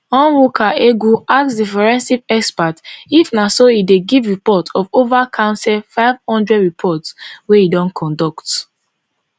onwuka egwu ask di forensic expert if na so e dey give report of ova counsel five hundred reports wey e don conduct